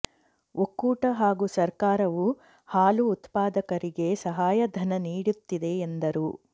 ಒಕ್ಕೂಟ ಹಾಗೂ ಸರ್ಕಾರವು ಹಾಲು ಉತ್ಪಾದಕರಿಗೆ ಸಹಾಯಧನ ನೀಡುತ್ತಿದೆ ಎಂದರು